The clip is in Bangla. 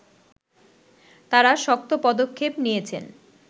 তারা শক্ত পদক্ষেপ নিয়েছেন